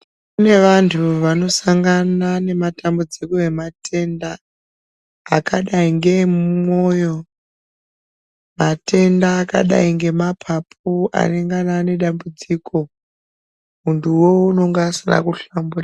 Kune vantu vanosangana nematambudziko ematenga akadai ngeemumwoyo, matenda akadai ngemapapu anengana ane dambudziko muntuwo unonga asina kuhlamburika.